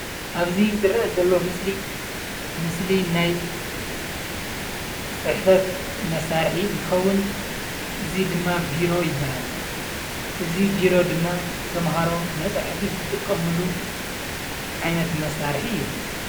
ኣብዚ ዝረአ ዘሎ ምስሊ ምስሊ ናይ ፅሕፈት መሳርሒ እንትከዉን እዚ ድማ ቢሮ ይበሃል። እዚ ቢሮ ድማ ተምሃሮ መፅሐፊ ዝጥቀምሉ ዓይነት መሳርሒ እዩ።